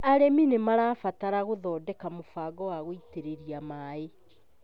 Arĩmi nĩ marabatara gũthondeka mũbango wa gũitĩrĩria maĩ.